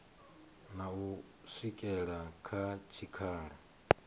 na u swikela kha tshikhala